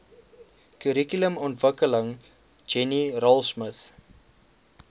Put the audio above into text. kurrikulumontwikkeling jenny raultsmith